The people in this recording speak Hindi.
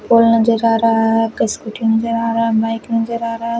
पुल नजर आ रहा है एक स्कूटी नजर आ रहा है एक बाइक नजर आ रहा है।